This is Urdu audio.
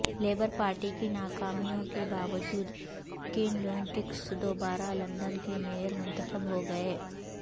لیبر پارٹی کی ناکامیوں کے باوجود کین لیونگسٹن دوبارہ لندن کے مئیر منتخب ہو گئے